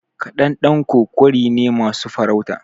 Ƙadandanko ƙwari ne masu farauta.